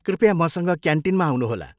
कृपया मसँग क्यान्टिनमा आउनुहोला।